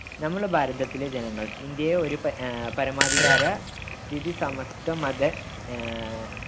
നമ്മളെ ഭാരതത്തിലെ ജനങ്ങൾ, ഇന്ത്യയെ ഒരു പര ആഹ് പരമാധികാര സ്ഥിതിസമത്വ മത